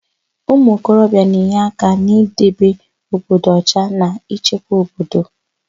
Ụmụokorobia na-enye aka n'idebe obodo ọcha na ịchekwa obodo.